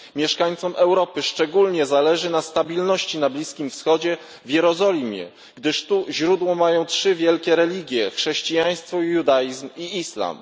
Mieszkańcom Europy szczególnie zależy na stabilności na Bliskim Wschodzie, w Jerozolimie, gdyż tu źródło mają trzy wielkie religie chrześcijaństwo judaizm i islam.